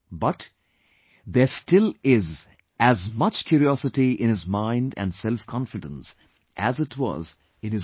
But, there still is as much curiosity in his mind and selfconfidence as it was in his youth